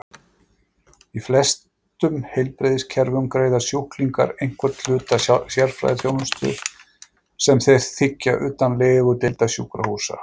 Í flestum heilbrigðiskerfum greiða sjúklingar einhvern hluta sérfræðiþjónustu sem þeir þiggja utan legudeilda sjúkrahúsa.